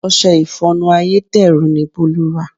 Ọṣẹ ìfọnu ayédèrú ni Bolu rà.